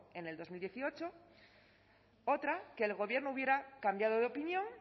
en dos mil dieciocho otra que el gobierno hubiera cambiado de opinión